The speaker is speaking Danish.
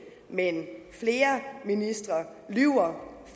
men flere ministre lyver